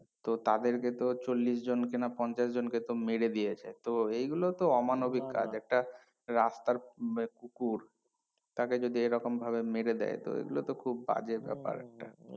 তো তাদেরকে তো চল্লিশ জন কে না পঞ্চাশ জন কে তো মেরে দিয়েছে তো এই গুলো তো অমানবিক কাজ একটা রাস্তার উম কুকুর তাকে যদি এইরকম ভাবে মেরে দেয় তো এগুলোতো খুব বাজে ব্যাপার